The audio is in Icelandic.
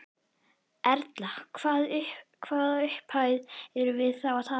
Erla: Hvaða upphæðir erum við þá að tala um?